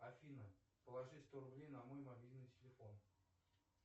афина положи сто рублей на мой мобильный телефон